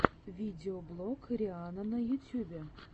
видеоблог рианна на ютьюбе